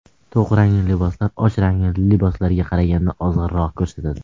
To‘q rangli liboslar och rangli liboslarga qaraganda ozg‘inroq ko‘rsatadi.